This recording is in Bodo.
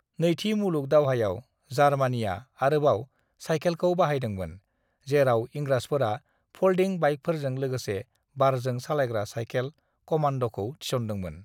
"नैथि मुलुग दावहायाव जार्मानिआ आरोबाव सायखेलखौ बाहायदोंमोन, जेराव इंराजफोरा फल्दिं बाइकफोरजों लोगोसे बारजों सालायग्रा सायखेल-कमान्द'खौ थिसनदोंमोन।"